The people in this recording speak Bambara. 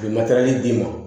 U ye matɛrɛli d'i ma